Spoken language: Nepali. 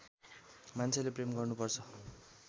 मान्छेले प्रेम गर्नु पर्छ